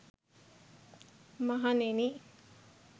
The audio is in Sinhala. මහණෙනි,